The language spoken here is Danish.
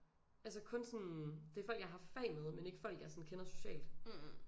Altså kun sådan det er folk jeg har haft fag med men ikke folk jeg sådan kender socialt